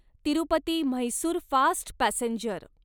Tirupati Mysore fast passenger